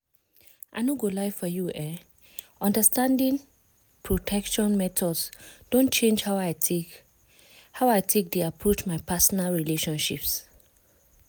i no go lie for you eh understanding protection methods don change how i take how i take dey approach my personal relationships.